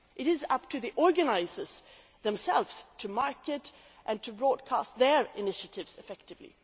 else. It is up to the organisers themselves to market and broadcast their initiatives effectively.